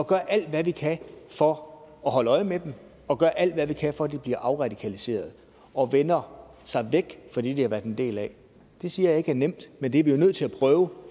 gøre alt hvad vi kan for at holde øje med dem og gøre alt hvad vi kan for at de bliver afradikaliseret og vender sig væk fra det de har været en del af det siger jeg ikke er nemt men det er vi jo nødt til at prøve